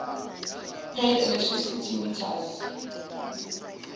paid electricity meters